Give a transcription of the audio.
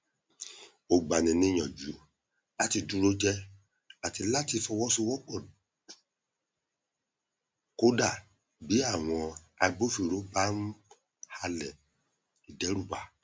ó gba ni níyànjú láti dúró jẹ àti láti fọwọsowọpọ kódà bí àwọn agbófinró bá n halẹ ìdẹrùbà